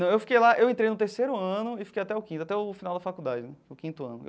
Não eu fiquei lá, eu entrei no terceiro ano e fiquei até o quinto, até o final da faculdade, o quinto ano.